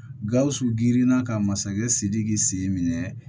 Gawusu girinna ka masakɛ sidiki sen minɛ